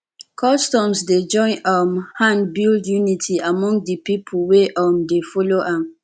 customs dey join um hand build unity among de pipo wey um dey follow am